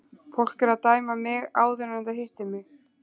Fólk er að dæma mig áður en það hittir mig.